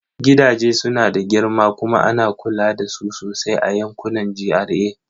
Gidaje suna da girma kuma ana kula da su sosai a yankunan GRA.